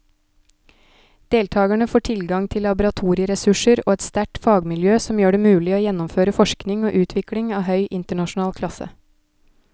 Deltakerne får tilgang til laboratorieressurser og et sterkt fagmiljø som gjør det mulig å gjennomføre forskning og utvikling av høy internasjonal klasse.